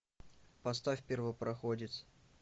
поставь первопроходец